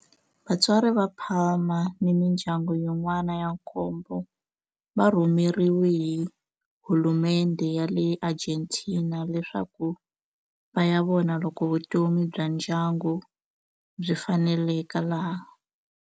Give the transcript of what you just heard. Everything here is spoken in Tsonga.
Vatswari va Palma ni mindyangu yin'wana ya nkombo va rhumeriwe hi hulumendhe ya le Argentina leswaku va ya vona loko vutomi bya ndyangu byi faneleka laha.